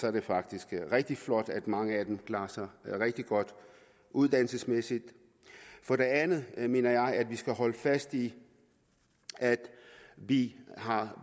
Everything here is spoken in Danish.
er det faktisk rigtig flot at mange af dem klarer sig rigtig godt uddannelsesmæssigt for det andet mener jeg at vi skal holde fast i at vi